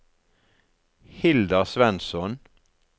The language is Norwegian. Hilda Svensson